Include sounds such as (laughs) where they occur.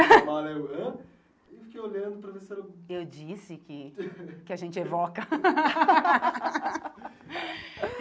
A mala eu ãh Eu fiquei olhando para ver se era... Eu disse que (laughs) que a gente evoca. (laughs)